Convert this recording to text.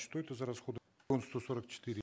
что это за расходы сто сорок четыре